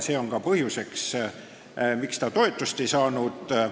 See on ka põhjus, miks see toetust ei saanud.